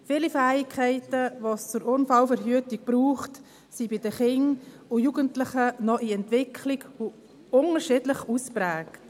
Viele Fähigkeiten, die es zur Unfallverhütung braucht, sind bei den Kindern und Jugendlichen noch in Entwicklung und unterschiedlich ausgeprägt.